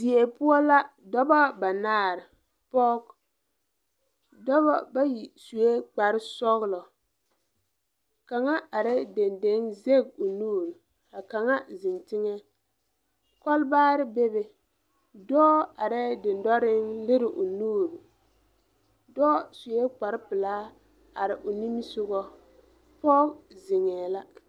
Die poɔ la doba banaare poge dɔbɔ bayi suee kpare sɔglɔ kaŋa areɛɛ deŋdeŋ de o nuure ka kaŋa zeŋ teŋɛ kɔlbaarre bebe dɔɔ areɛɛ dendoreŋ lire o nuure dɔɔ suee kpare pilaa are o nimisugɔ poge zeŋɛɛ la.